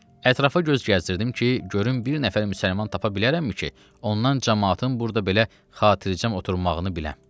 Ətrafa göz gəzdirdim ki, görüm bir nəfər müsəlman tapa bilərəmmi ki, ondan camaatın burda belə xatircəm oturmağını biləm.